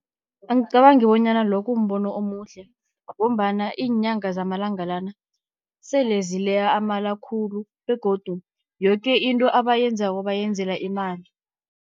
Angicabangi bonyana lo kumbono omuhle, ngombana iinyanga zamalanga lana sele zileya amala khulu begodu yoke into abayenzako bayenzela imali.